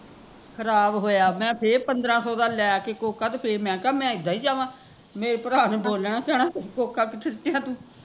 ਖਰਾਬ ਹੋਇਆ ਮੈਂ ਫੇਰ ਪੰਦਰਾਂ ਸੋ ਦਾ ਲੈ ਕੇ ਕੋਕਾ ਮੈਂ ਕਿਹਾ ਮੈਂ ਇੱਦਾਂ ਹੀਂ ਜਾਵਾ ਮੇਰੇ ਭਰਾ ਨੇ ਬੋਲਣਾ ਕਹਿਣਾ ਕੋਕਾ ਕਿੱਥੇ ਸੁੱਟਿਆ ਤੂੰ